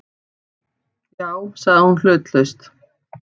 Já- sagði hún hlutlaust.